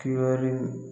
Kiyɔri